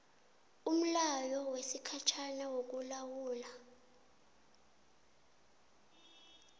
umlayo wesikhatjhana wokulawula